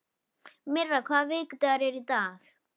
Myrra, hvaða vikudagur er í dag?